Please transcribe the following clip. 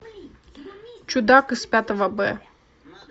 чудак из пятого б